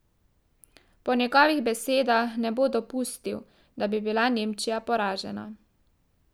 Po njegovih besedah ne bo dopustil, da bi bila Nemčija poražena.